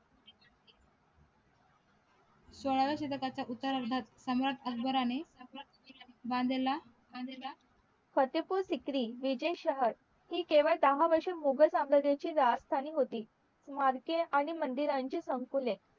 सोळावे शिडकाचे उत्तर अर्धात सांवर अकबराने बांधलेला बांधलेला फतेपूर सिक्री विजय शहर हि केळवे दाह वर्ष मुघल समरायजाची राजधानी होती मार्के आणि मंदिरांची संकुले